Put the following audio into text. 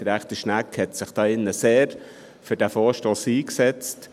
Gesundheitsdirektor Schnegg hatte sich hier sehr für diesen Vorstoss eingesetzt.